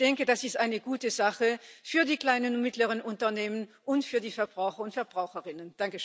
Ich denke, das ist eine gute Sache für die kleinen und mittleren Unternehmen und für die Verbraucher und Verbraucherinnen.